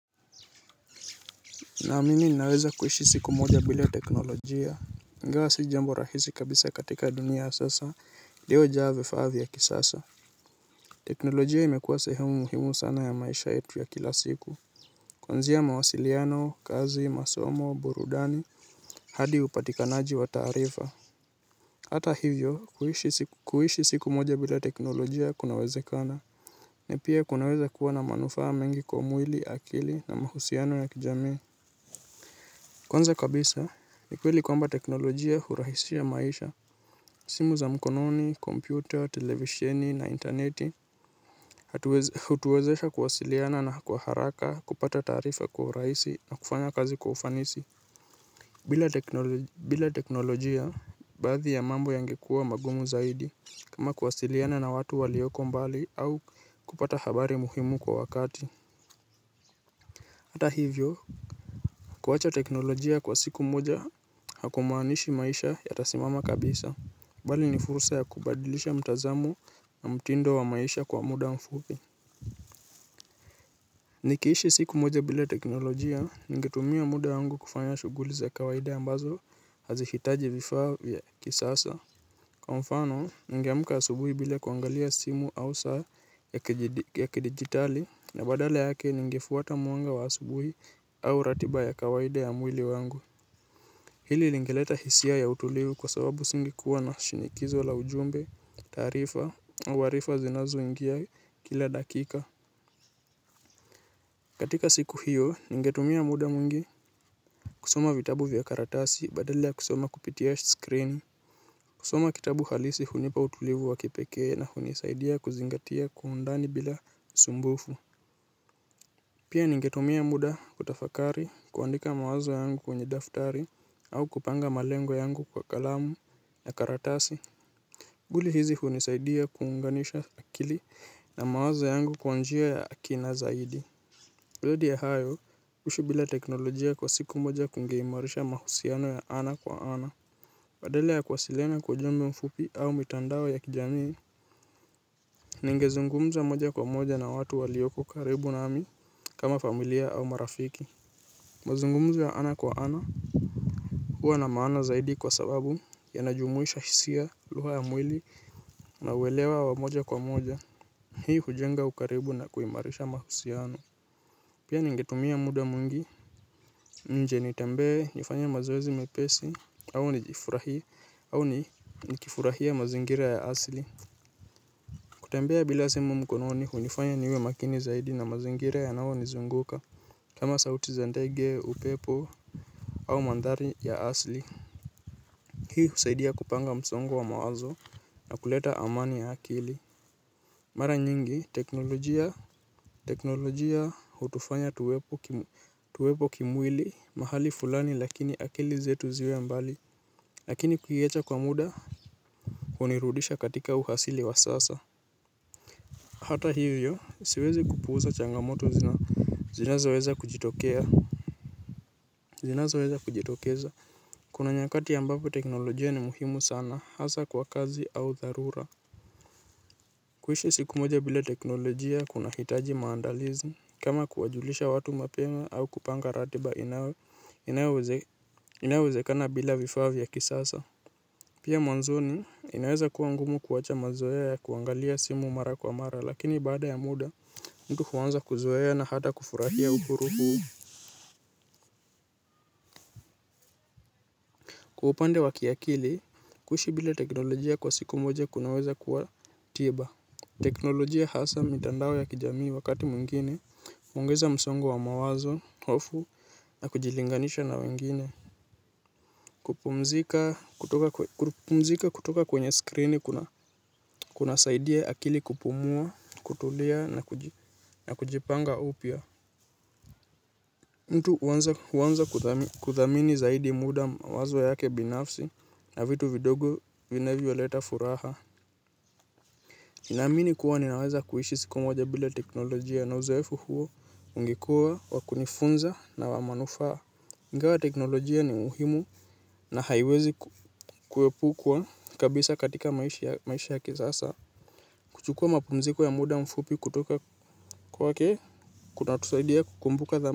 Naamini ninaweza kuishi siku moja bila teknolojia. Ingawa si jambo rahisi kabisa katika dunia ya sasa, iliyojaa vifa vya kisasa. Teknolojia imekuwa sehemu muhimu sana ya maisha yetu ya kila siku. Kwanzia mawasiliano, kazi, masomo, burudani, hadi upatikanaji wa taarifa. Hata hivyo, kuishi siku moja bila teknolojia kunawezekana. Napia kuna weza kuwa na manufaa mengi kwa mwili akili na mahusiano ya kijamii. Kwanza kabisa ni kweli kwamba teknolojia hurahisia maisha. Simu za mkononi, kompyuta, televisheni na intaneti hutuwezesha kuwasiliana na kwa haraka kupata taarifa kwa urahisi na kufanya kazi kwa ufanisi. Bila teknolojia baadhi ya mambo yangekuwa magumu zaidi kama kuwasiliana na watu walioko mbali au kupata habari muhimu kwa wakati. Ata hivyo kuwacha teknolojia kwa siku moja, hakumaanishi maisha yatasimama kabisa. Bali ni fursa ya kubadilisha mtazamo na mtindo wa maisha kwa muda mfupi. Nikiishi siku moja bila teknolojia, ningetumia muda wangu kufanya shughuli za kawaida ambazo, hazi hitaji vifaa ya kisasa. Kwa mfano, ningeamka asubuhi bila kuangalia simu au saa ya kidijitali, na badala yake ningefuata mwanga wa asubuhi au ratiba ya kawaida ya mwili wangu. Hili lingeleta hisia ya utulivu kwa sababu singekuwa na shinikizo la ujumbe, taarifa, au arifa zinazoingia kila dakika. Katika siku hiyo, ningetumia muda mwingi kusoma vitabu vya karatasi badala ya kusoma kupitia screen. Kusoma kitabu halisi hunipa utulivu wa kipekee na hunisaidia kuzingatia kwaundani bila usumbufu. Kusoma vitabu vya karatasi badala ya kusoma kupitia screen. Kusoma kitabu halisi hunipa utulivu wa kipekee na hunisaidia kuzingatia kwaundani bila usumbufu au kupanga malengo yangu kwa kalamu na karatasi. Shughuli hizi hunisaidia kuunganisha akili na mawazo yangu kwa njia ya kina zaidi zaidi ya hayo kuishi bila teknolojia kwa siku moja kungeimarisha mahusiano ya ana kwa ana badala ya kuwasiliana kwa ujumbe mfupi au mitandao ya kijamii. Ningezungumza moja kwa moja na watu waliopo karibu nami kama familia au marafiki. Mazungumzo ya ana kwa ana hua na maana zaidi kwa sababu yanajumuisha hisia lugha ya mwili na uelewa wa moja kwa moja. Hii hujenga ukaribu na kuimarisha mahusiano. Pia ningetumia muda mwingi nje nitembe nifanye mazoezi mepesi au nijifurahie au nikifurahia mazingira ya asili. Kutembea bila simu mkononi hunifanya niwe makini zaidi na mazingira yanayo nizunguka kama sauti za ndege upepo au mandhari ya asili hii husaidia kupanga msongo wa mawazo na kuleta amani ya akili. Mara nyingi teknolojia hutufanya tuwepo kimwili mahali fulani lakini akili zetu ziwe mbali. Lakini kuiacha kwa muda hunirudisha katika uasili wa sasa. Hata hivyo siwezi kupuuza changamoto zina zinazoweza kujitokea zinazoweza kujitokeza. Kuna nyakati ambapo teknolojia ni muhimu sana hasa kwa kazi au dharura. Kuishi siku moja bila teknolojia kuna hitaji maandalizi kama kuwajulisha watu mapema au kupanga ratiba inayo inayoweze kusoma vitabu vya karatasi badala ya kusoma kupitia screen. Kusoma kitabu halisi hunipa utulivu wakipekee na hunisaidia kuzingatia kwa undani bila usumbufu. Pia mwanzoni inaweza kuwa ngumu kuwacha mazoea ya kuangalia simu mara kwa mara lakini baada ya muda mtu huanza kuzoea na hata kufurahia uhuru huu. Kwa upande wa kiakili kuishi bila teknolojia kwa siku moja kunaweza kuwa tiba. Teknolojia hasa mitandao ya kijamii wakati mwingine huongeza msongo wa mawazo, hofu, na kujilinganisha na wengine. Kupumzika kutoka kwenye skrini kuna saidia akili kupumua, kutulia, na kujipanga upya. Mtu huanza kuthamini zaidi muda mawazo yake binafsi na vitu vidogo vinavyoleta furaha. Na amini kuwa ninaweza kuishi siku moja bila teknolojia na uzoefu huo ungekua wakunifunza na wa manufaa. Ingawa teknolojia ni muhimu na haiwezi kuepukwa kabisa katika maisha ya kisasa. Kuchukua mapunziko ya muda mfupi kutoka kwake, kunatusaidia kukumbuka dha.